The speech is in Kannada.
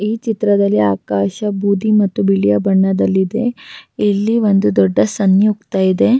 ಈ ಚಿತ್ರದಲ್ಲಿ ಆಕಾಶ ಬೂದಿ ಮತ್ತು ಬಿಳಿಯ ಬಣ್ಣದಲ್ಲಿ ಇದೆ ಇಲ್ಲಿ ಒಂದು ದೊಡ್ದ ಸನ್ಯುಕ್ತ ಇದೆ.